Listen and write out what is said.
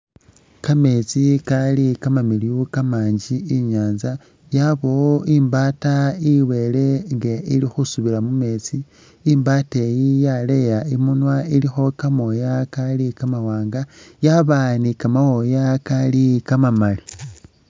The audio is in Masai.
Kameetsi kali kamamiliyu kamanji inyaanza, yabamo imbaata i'bele nga ili khesubila mu meetsi. I'mbaata eyi yaleya imunwa ilimo kamooya kali kamawaanga yaba ni kamooya kali kamamali.